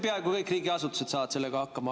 Peaaegu kõik riigiasutused saaksid sellega hakkama.